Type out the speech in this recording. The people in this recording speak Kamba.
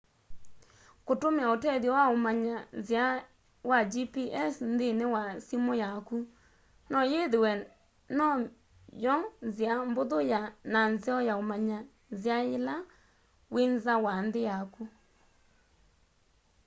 kũtũmĩa ũtethyo wa ũmanya nzĩa wa gps nthĩnĩ wa simu yaku no yĩthĩwe no my'o nzĩa mbũthũ na nzeo ya ũmanya nzĩa yĩla wĩ nza wa nthĩ yaku